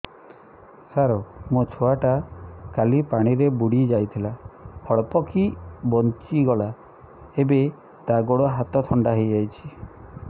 ସାର ମୋ ଛୁଆ ଟା କାଲି ପାଣି ରେ ବୁଡି ଯାଇଥିଲା ଅଳ୍ପ କି ବଞ୍ଚି ଗଲା ଏବେ ତା ଗୋଡ଼ ହାତ ଥଣ୍ଡା ହେଇଯାଉଛି